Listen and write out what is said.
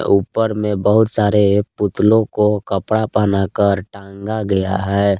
ऊपर में बहुत सारे पुतलों को कपड़ा पहना कर टांगा गया है।